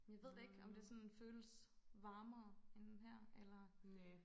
Jamen jeg ved det ikke om det sådan føles varmere end her eller